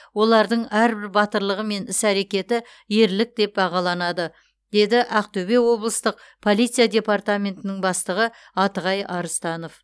олардың әрбір батырлығы мен іс әрекеті ерлік деп бағаланады деді ақтөбе облыстық полиция департаментінің бастығы атығай арыстанов